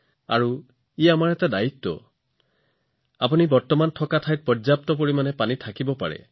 হয়তো আপুনি এতিয়া যত আছে তাত পৰ্যাপ্ত পানী উপলব্ধ আছে